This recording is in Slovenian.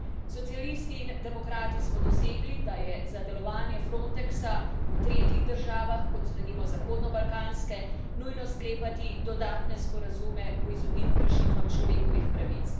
Socialisti in demokrati smo dosegli, da je za delovanje Frontexa v tretjih državah, kot so, denimo, zahodnobalkanske, nujno sklepati dodatne sporazume v izogib kršitvam človekovih pravic.